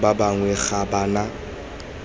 ba bangwe ga ba na